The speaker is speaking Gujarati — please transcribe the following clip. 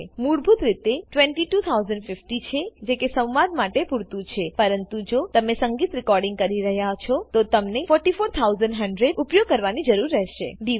મૂળભૂત રીતે 22050 છે જે કે સ્વાદ માટે પુરતું છેપરંતુ જો તમે સંગીત રેકોડીંગ કરી રહ્યા છો તોતમને 44100 ઉપયોગ કરવાની જરૂર રહેશે